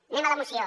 anem a la moció